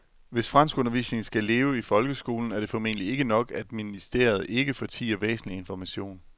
Hvis franskundervisningen skal leve i folkeskolen er det formentlig ikke nok, at ministeriet ikke fortier væsentlig information.